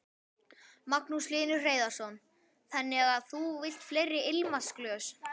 Magnús Hlynur Hreiðarsson: Þannig að þú vilt fleiri ilmvatnsglös?